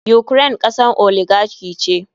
Ukraine kasar oligarchy ce.